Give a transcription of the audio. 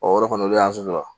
Ɔ yɔrɔ kɔni o de y'an sojɔ